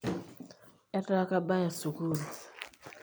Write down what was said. etaa kabaya sukuul